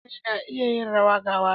Mutane na iya yin rawa ga waka.